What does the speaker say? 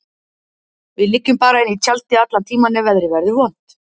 Við liggjum bara inni í tjaldi allan tímann ef veðrið verður vont.